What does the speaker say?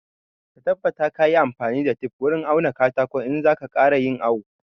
Ka tabbata ka yi amfani da tef wurin auna katakon in za ka ƙara yin awo